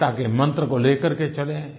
एकता के मन्त्र को लेकर के चलें